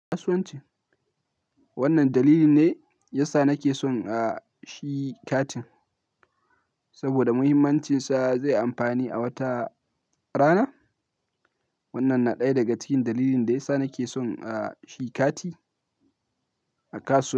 Kasuwanci. Wannan dalili ne yasa nake son a shi katin, saboda muhimmancinsa zai yi amfani a wata rana. Wannan na ɗaya daga cikin dalilin da yasa nake son shi kati a kasuwa.